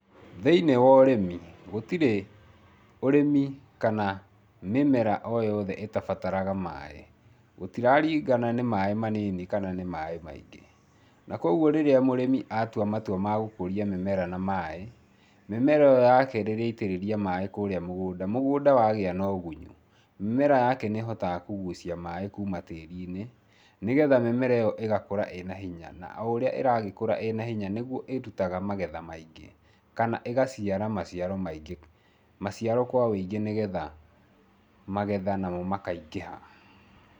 Thĩiniĩ wa ũrĩmi gũtirĩ ũrĩmi kana mĩmera oyothe ĩtabataraga maĩ. Gũtiraringana nĩ maĩ manini kana nĩ maĩ maingĩ. Nakwogwo rĩrĩa mũrĩmi atua matua magũkũria mĩmera na maĩ, mĩmera ĩo yake rĩrĩa aitĩrĩria maĩ kũrĩa mũgũnda, mũgũnda wagĩa no ũgunyu, mĩmera ake nĩhotaga kũgucia maĩ kuma tĩrinĩ, nĩgetha mĩmera ĩo ĩgakũra ĩna hinya . Naũrĩa ĩragĩkũra ĩna hinya nĩguo ĩrutaga magetha maingĩ kana ĩgaciara maciaro maingĩ, maciaro kwa wĩingĩ nĩgetha magetha namo makaingĩha.